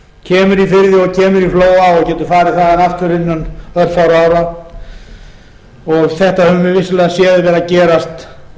kemur í flóa og getur farið þaðan aftur innan örfárra ára þetta höfum við vissulega séð vera að gerast